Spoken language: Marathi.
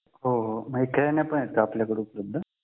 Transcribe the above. हो मग खेळणे पण आहे का आपल्याकडे उपलब्ध